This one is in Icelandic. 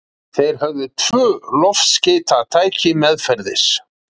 Þeir höfðu tvö loftskeytatæki meðferðis.